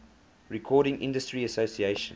recording industry association